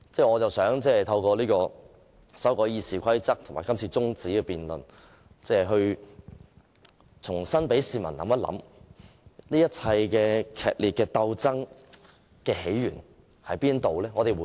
我想透過修訂《議事規則》和這項中止待續議案，讓市民重新思考劇烈鬥爭源自甚麼？